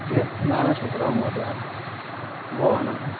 નાના છોકરાઓ માટે બહુ હાનીકાર છે